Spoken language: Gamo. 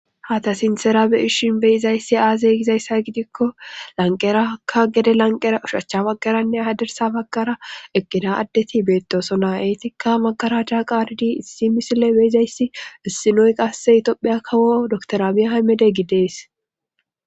hata sintera beyishin beyizayssi aaze gizayssa gidikko lanqerakka gede lanqera ushachcha baggaranne hadersa baggara eqqida addeti beettosona eetikka makara chaa qaaridi issi misile beyizayssi issinoy qasse itopheya kawo doktoramia haymede gidees